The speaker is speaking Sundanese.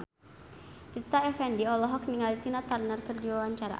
Rita Effendy olohok ningali Tina Turner keur diwawancara